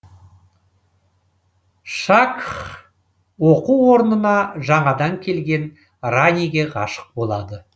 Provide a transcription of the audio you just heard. шакх оқу орнына жаңадан келген раниге ғашық болады